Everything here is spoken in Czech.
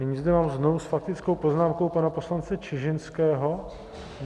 Nyní zde mám znovu s faktickou poznámkou pana poslance Čižinského.